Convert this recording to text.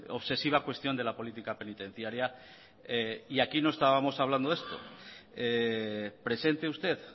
obsesiva cuestión de la política penitenciaria y aquí no estábamos hablando de esto presente usted